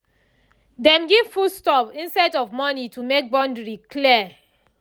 dem give food stuff instead of money to make boundary clear